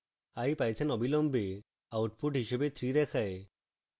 ipython অবিলম্বে output হিসাবে 3 দেখায়